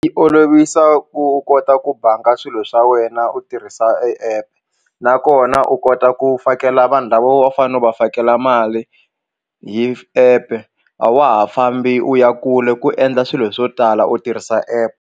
Yi olovisa ku u kota ku banga swilo swa wena u tirhisa e app nakona u kota ku fakela vanhu lava a wu fanele va fakela mali hi app a wa ha fambi u ya kule ku endla swilo swo tala u tirhisa app.